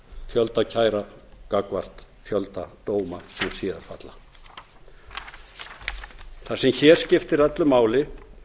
fjölda kæra gagnvart fjölda dóma sem síðar falla það sem hér skiptir öllu máli er